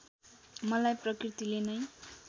मलाई प्रकृतिले नै